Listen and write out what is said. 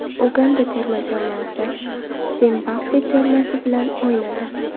Uganda terma jamoasi Zimbabve termasi bilan o‘ynadi.